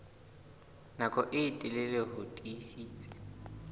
nako e telele ho tiisitse